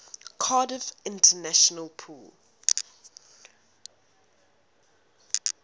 cardiff international pool